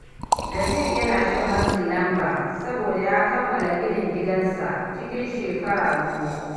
Naziru yana shan matsin lamba saboda ya kammala ginin gidansa cikin shekaru biyu.